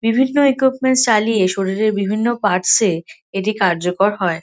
বিভিন্ন ইকুইপমেন্টস চালিয়ে শরীরের বিভিন্ন পার্টস -এ এটি কার্যকর হয়।